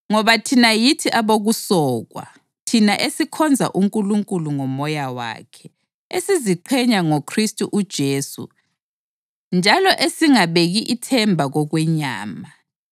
Ngoba thina yithi abokusokwa, thina esikhonza uNkulunkulu ngoMoya wakhe, esiziqhenya ngoKhristu uJesu njalo esingabeki ithemba kokwenyama